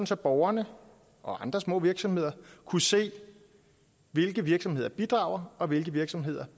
så borgerne og andre små virksomheder kunne se hvilke virksomheder der bidrager og hvilke virksomheder